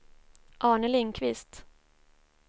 Arne Lindkvist